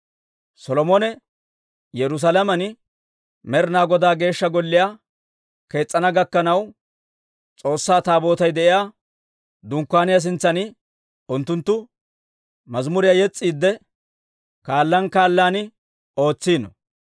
Solomone Yerusaalamen Med'inaa Godaa Geeshsha Golliyaa kees's'ana gakkanaw, S'oossaa Taabootay de'iyaa Dunkkaaniyaa sintsan unttunttu mazimuriyaa yes's'iidde, kaalaan kaalaan ootsino.